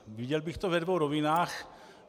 Viděl bych to ve dvou rovinách.